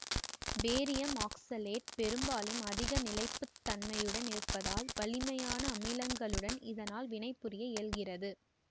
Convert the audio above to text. barium oxalate பெரும்பாலும் அதிக நிலைப்பு தன்மையுடன் இருப்பதால் வலிமையான அமிலங்களுடன் இதனால் வினைபுரிய இயல்கிறது